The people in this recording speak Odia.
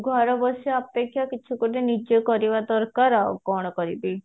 ଘରେ ବସିବା ଅପେକ୍ଷା କିଛି ଗୋଟେ ନିଜେ କରିବା ଦରକାର ଆଉ କଣ କରିବି